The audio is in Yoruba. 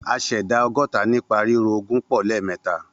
A ṣẹ̀dá ọgọ́ta nípa ríro ogún pọ̀ lẹ́ẹ̀mẹ́ta